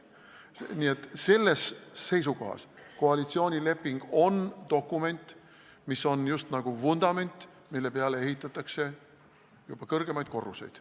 Nii et sellest seisukohast on koalitsioonileping dokument, mis on just nagu vundament, mille peale ehitatakse juba kõrgemad korrused.